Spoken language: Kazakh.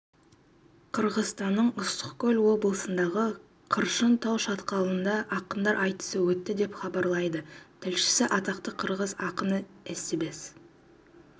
қырғызстанның ыстықкөл облысындағы қыршын тау шатқалында ақындар айтысы өтті деп хабарлайды тілшісі атақты қырғыз ақыны эстебес